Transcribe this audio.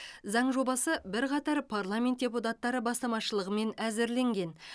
заң жобасы бірқатар парламент депутаттары бастамашылығымен әзірленген